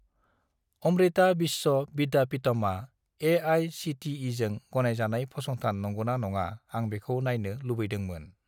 अमृता विश्व विद्यापिटमआ ए.आइ.सि.टि.इ.जों गनायजानाय फसंथान नंगौना नङा आं बेखौ नायनो लुबैदोंमोन।